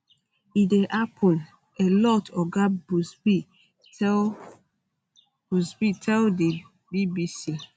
e dey happun um a lot oga buzbee tell buzbee tell di bbc